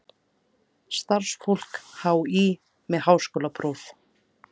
Starfsfólk HÍ með háskólapróf.